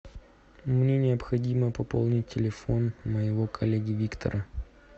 мне необходимо пополнить телефон моего коллеги виктора